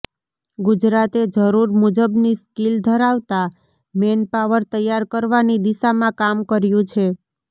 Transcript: ગુજરાતે જરૂર મુજબની સ્કીલ ધરાવતા મેનપાવર તૈયાર કરવાની દિશામાં કામ કર્યું છે